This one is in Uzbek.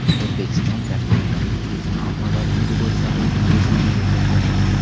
O‘zbekiston gastronomik turizm ommabopligi bo‘yicha reyting beshligiga kirdi.